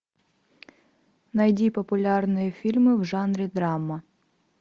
найди популярные фильмы в жанре драма